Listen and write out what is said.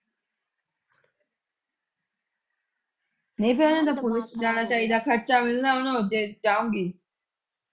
ਨਹੀਂ ਤੇ ਉਹਨਾਂ ਨੂੰ ਤੇ ਪੁਲਿਸ ਚ ਜਾਣਾ ਚਾਹੀਦਾ ਖ਼ਰਚਾ ਵੀ ਉਹਨਾਂ ਦਾ ਉੱਥੇ ਜਾਣਗੀ